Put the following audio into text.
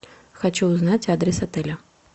хочу узнать адрес отеля